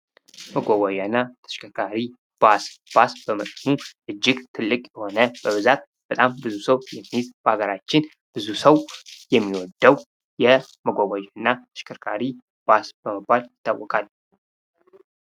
መጓጓዣ እና ተሽከርካሪ። ባስ ፡ ባስ በመጠኑ እጅግ ትልቅ የሆነ በብዛት በጣም ብዙ ሰው የሚይዝ በሀገራችን ብዙ ሰው የሚወደው የመጓጓዣ እና ተሽከርካሪ ባስ በመባል ይታወቃል ።